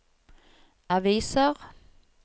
aviser